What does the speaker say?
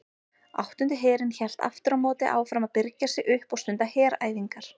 Áttundi herinn hélt aftur á móti áfram að birgja sig upp og stunda heræfingar.